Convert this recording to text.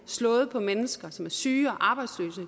slået på mennesker som er syge og arbejdsløse